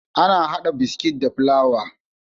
Ana hada biskit da fulawa